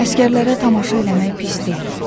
Əsgərlərə tamaşa eləmək pis deyil.